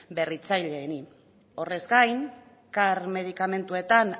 berritzaileei horrez gain car t medikamentuetan